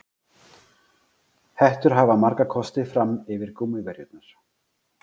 Hettur hafa marga kosti fram yfir gúmmíverjurnar.